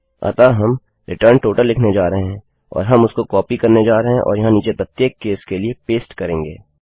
अतः हम return total लिखने जा रहे हैं और हम उसको कॉपी करने जा रहे है और यहाँ नीचे प्रत्येक केस के लिए पेस्ट करेंगे